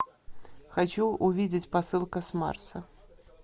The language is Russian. хочу увидеть посылка с марса